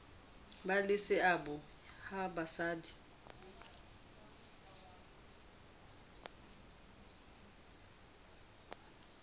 ba le seabo ha basadi